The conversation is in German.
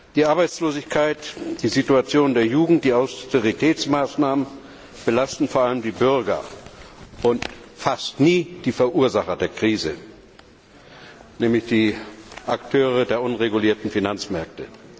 Die Arbeitslosigkeit, die Situation der Jugend, die Austeritätsmaßnahmen belasten vor allem die Bürger und fast nie die Verursacher der Krise, nämlich die Akteure der unregulierten Finanzmärkte.